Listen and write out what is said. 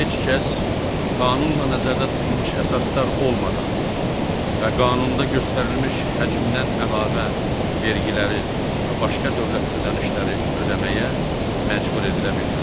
Heç kəs qanunla nəzərdə tutulmuş əsaslar olmadan və qanunda göstərilmiş həcmdən əlavə vergiləri və başqa dövlət ödənişləri ödəməyə məcbur edilə bilməz.